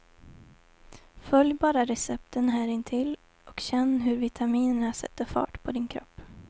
Följ bara recepten här intill och känn hur vitaminerna sätter fart på din kropp.